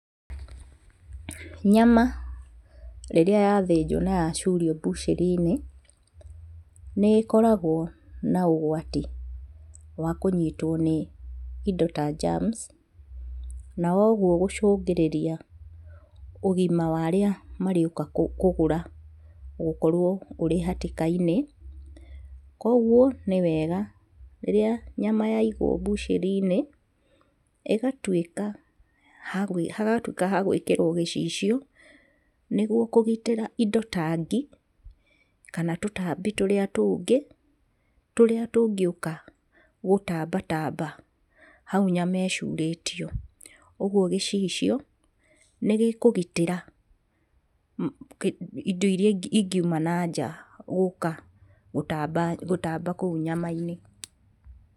Nyama rĩrĩa yathĩnjwo na yacurio mbucĩrĩ-inĩ, nĩĩkoragwo na ũgwati wa kũnyitwo nĩ indo ta njamuci, na ũguo gũcũngĩrĩria ũgima wa arĩa marĩũka kũgũra gũkorwo marĩ hatĩka-inĩ. Kuoguo nĩ wega rĩrĩa nyama yaigwo mbucĩrĩ-inĩ, ĩgatuĩka hagatuĩka ha gũĩkĩrwo gĩcicio nĩguo kũgitĩra indo ta ngi kana tũtambi tũrĩa tũngĩ, tũrĩa tũngĩũka gũtambatamba hau nyama ĩcurĩtio. Ũguo gĩcicio nĩgĩkũgitĩra indo iria ingiuma na nja gũka gũtamba gũtamba kũu nyama-inĩ.